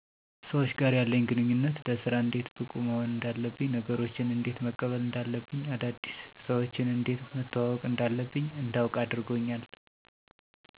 ሰዎች ጋር ያለኝ ግንኙነት ለስራ እንዴት ብቁ መሆን እንዳለብኝ ነገሮችን እንዴት መቀበል እንዳለብኝ አዳዲስ ሰዎችን እንዴት መተዋወቅ እንዳለብኝ እንዳዉቅ አድርጎኛል